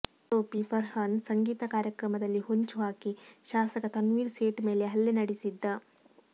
ಆರೋಪಿ ಫರ್ಹಾನ್ ಸಂಗೀತ ಕಾರ್ಯಕ್ರಮದಲ್ಲಿ ಹೊಂಚು ಹಾಕಿ ಶಾಸಕ ತನ್ವೀರ್ ಸೇಠ್ ಮೇಲೆ ಹಲ್ಲೆ ನಡೆಸಿದ್ದ